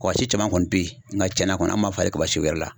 Kabasi caman kɔni bɛ ye nka cɛnna kɔni an m'a falen kabasi wɛrɛ la.